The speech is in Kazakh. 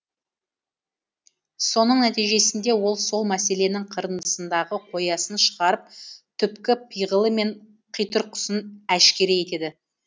соның нәтижесінде ол сол мәселенің қырындысындағы қоясын шығарып түпкі пиғылы мен қитұрқысын әшкере етеді